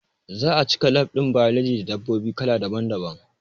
Za'a cika lab ɗin biology da dabbobi kala daban daban